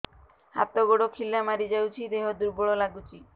ହାତ ଗୋଡ ଖିଲା ମାରିଯାଉଛି ଦେହ ଦୁର୍ବଳ ଲାଗୁଚି